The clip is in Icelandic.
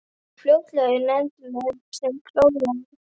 Málið fór fljótlega í nefnd sem klofnaði.